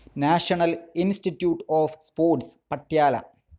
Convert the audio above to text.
national Institute of Sports, Patiala